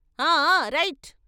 ఆ ఆ రైట్"